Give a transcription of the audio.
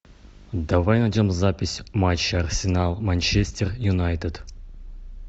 давай найдем запись матча арсенал манчестер юнайтед